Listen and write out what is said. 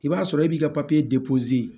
I b'a sɔrɔ e b'i ka papiye de